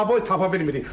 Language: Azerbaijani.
Oboy tapa bilmirik.